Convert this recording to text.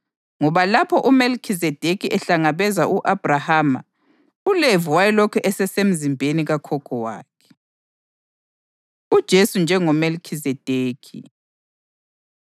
ngoba lapho uMelikhizedekhi ehlangabeza u-Abhrahama uLevi wayelokhu esesemzimbeni kakhokho wakhe. UJesu NjengoMelikhizedekhi